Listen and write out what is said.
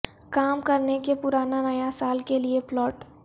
کام کرنے کے پرانا نیا سال کے لئے پلاٹ